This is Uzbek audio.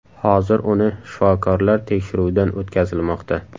Hozir uni shifokorlar tekshiruvdan o‘tkazilmoqda.